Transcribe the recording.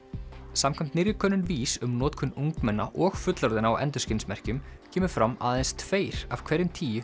samkvæmt nýrri könnun VÍS um notkun ungmenna og fullorðinna á endurskinsmerkjum kemur fram að aðeins tveir af hverjum tíu